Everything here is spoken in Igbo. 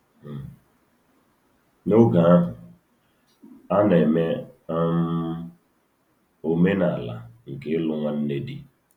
N’oge ahụ, a na-eme um omenala nke ịlụ nwanne di.